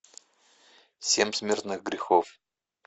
семь смертных грехов